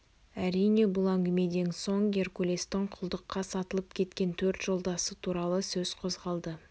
әрине бұл әңгімеден соң геркулестің құлдыққа сатылып кеткен төрт жолдасы туралы сөз қозғалды